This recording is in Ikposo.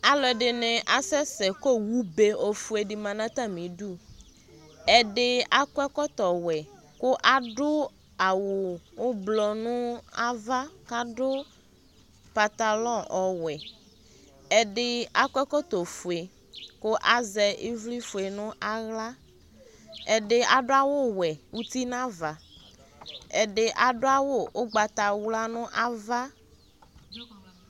Alu ɛdini asɛsɛ kʋ owu fue enini ma natamiduƐdi akɔ ɛkɔtɔ wɛ, kʋ aɖʋ awu ʋiblɔ nʋ ava kadʋ pentalon ɔwɛɛdi akɔ ɛkɔtɔ fueKʋ azɛ ivli fue nʋ aɣlaƐdi adʋ awu wɛ ʋtinavaƐdi adʋ awu ugbatawla nʋ ava